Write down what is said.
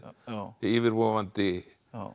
yfirvofandi